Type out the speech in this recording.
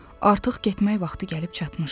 Artıq getmək vaxtı gəlib çatmışdı.